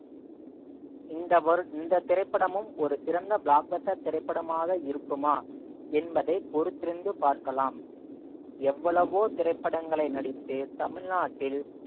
இந்த வரு~ இந்த திரைப்படமும் ஒரு சிறந்த block buster திரைப்படமாக இருக்குமா என்பதை பொறுத்திருந்து பார்க்கலாம் எவ்வளவோ திரைப்படங்களை நடித்து தமிழ்நாட்டில்